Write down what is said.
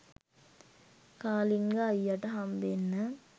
කාලිංග අයියට හම්බෙන්න